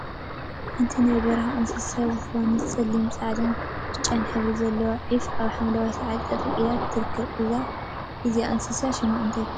ሓንቲ ናይ በረካ እንስሳት ዝኮነት ፀሊም፣ ፃዕዳን ብጫን ሕብሪ ዘለዋ ዒፍ አብ ሓምለዋይ ሳዕሪ ጠጠወ ኢላ ትርከብ፡፡ እዛ እንስሳ ሽማ እንታይ ተባሂላ ትፅዋዕ?